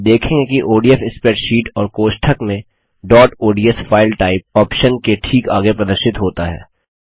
आप देखेंगे कि ओडीएफ स्प्रेडशीट और कोष्ठक में dot ODS file type file type option के ठीक आगे प्रदर्शित होता है